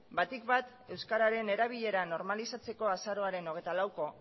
batik bat euskararen erabilera normalizatzeko azaroaren hogeita laueko